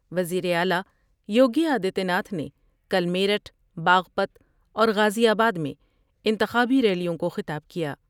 وزیر اعلی یوگی آدتیہ ناتھ نے کل میرٹھ ، باغپت اور غازی آباد میں انتخابی ریلیوں کو خطاب کیا ۔